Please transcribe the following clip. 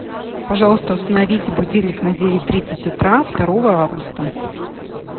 пожалуйста установите будильник на девять тридцать утра второго августа